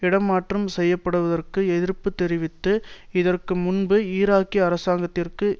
இடமாற்றம் செய்ய படுவதற்கு எதிர்ப்பு தெரிவித்து இதற்கு முன்பு ஈராக்கிய அரசாங்கத்திற்கு